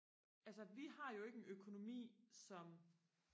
altså vi har jo ikke en økonomi som